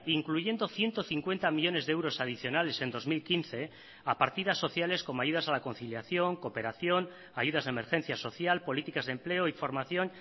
incluyendo ciento cincuenta millónes de euros adicionales en dos mil quince a partidas sociales como ayudas a la conciliación cooperación ayudas de emergencia social políticas de empleo y formación